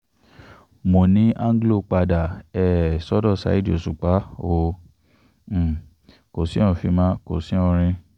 múni anglo padà um sọ́dọ̀ saheed òṣùpá o um kò sí oufimo kò sí orin